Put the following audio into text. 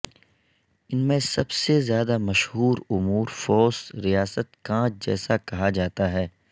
ان میں سب سے زیادہ مشہور امورفووس ریاست کانچ جیسا کہا جاتا ہے